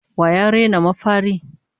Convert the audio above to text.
Wa ya raina mafari?